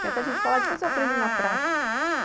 Tem até gente falar, depois eu aprendo na prática.